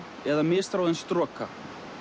eða misráðin stroka